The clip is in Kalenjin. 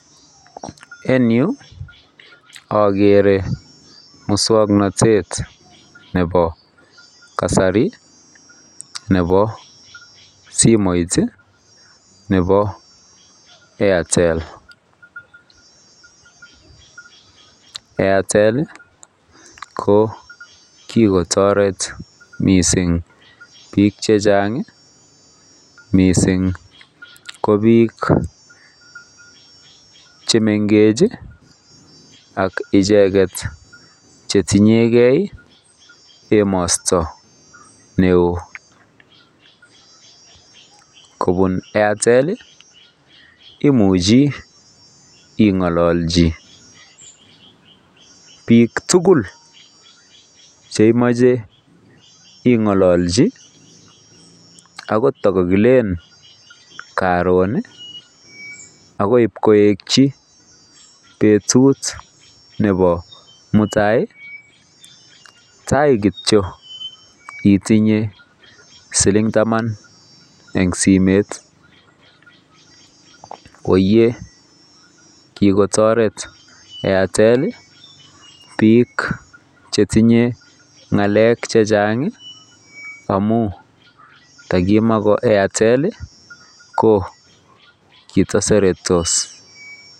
En Yu agere muswaknatet Nebo kasari Nebo simoit Nebo Airtel Airtel ko kikotaret mising bik chechang mising ko bik chemengechen ak icheket chetinyengei emosto neon kobun Airtel imuche ingalalchi bik tugul cheimuche ingalalchi kakilel Karon akoik koyeki betut Nebo muata tai kityo itinye siling taban en simoit koiye kikotaret Airtel bik chetinye ngalek chechang amun ntakimakoairtel ko kitaseretos